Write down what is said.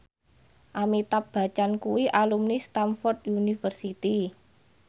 Amitabh Bachchan kuwi alumni Stamford University